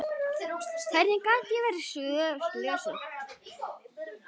Hvernig gat ég verið slösuð?